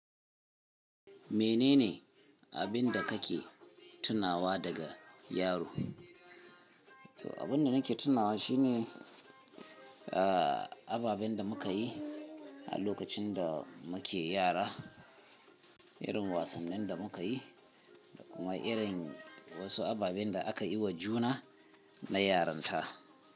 Menene abin da kake tunawa daga yaro? To, abin da nake tunawa shine, ah, ababen da muka yi a lokacin da muke yara, irin wasannin da muka yi da kuma irin wasu ababen da aka yi wa juna na yaranta.